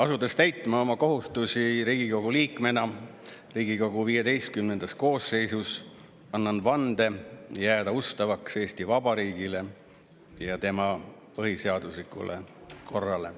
Asudes täitma oma kohustusi Riigikogu liikmena Riigikogu XV koosseisus, annan vande jääda ustavaks Eesti Vabariigile ja tema põhiseaduslikule korrale.